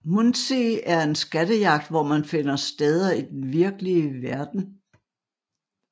Munzee er en skattejagt hvor man skal finde steder i den virkelige verden